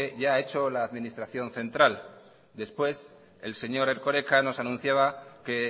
ya ha hecho la administración central después el señor erkoreka nos anunciaba que